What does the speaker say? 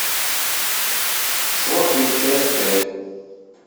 сваты часть пять